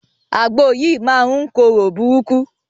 Àgbò yìí máa ń korò burúkú.